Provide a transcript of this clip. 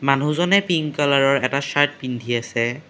মানুহজনে পিংক কালাৰৰ এটা চাৰ্ট পিন্ধি আছে।